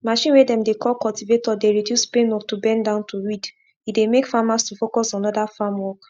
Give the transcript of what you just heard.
machine way dem dey call cultivator dey reduce pain of to bend down to weed e dey make farmers to focus on other farm work